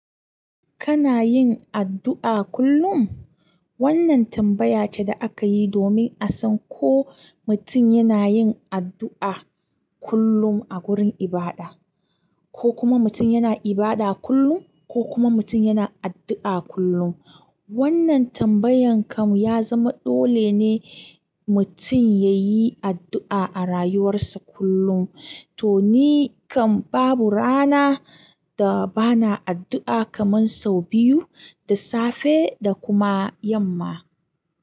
Kana yin addu'a kullum? Wannan tambaya ce da aka yi domin a san ko mutum yana yin addu'a kullum a gurin ibada, ko kuma mutum yana ibada kullum, ko kuma mutum yana addu'a kullum. Wannan tambayan kam ya zama dole ne mutum ya yi addu'a a rayuwarsa kullum. To ni kam babu rana da ba na addu'a kaman sau biyu, da safe da kuma yamma.